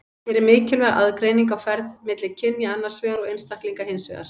Hér er mikilvæg aðgreining á ferð milli kynja annars vegar og einstaklinga hins vegar.